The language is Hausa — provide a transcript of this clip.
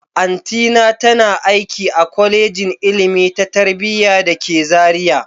Auntyna tana aiki a Kwalejin Ilimi ta Tarayya da ke Zaria